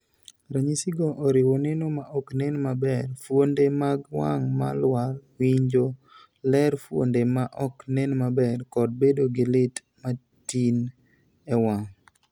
Ranyisigo oriwo neno ma ok nen maber, fuonde mag wang' ma lwar, winjo ler, fuonde ma ok nen maber, kod bedo gi lit matin e wang'.